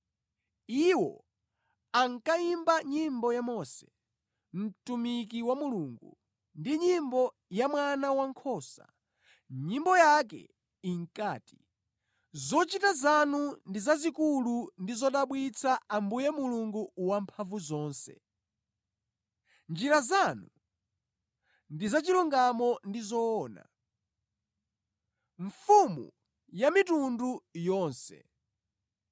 Iwo ankayimba nyimbo ya Mose, mtumiki wa Mulungu, ndi nyimbo ya Mwana Wankhosa. Nyimbo yake inkati, “Zochita zanu ndi zazikulu ndi zodabwitsa, Ambuye Mulungu Wamphamvuzonse Njira zanu ndi zachilungamo ndi zoona, Mfumu ya mitundu yonse.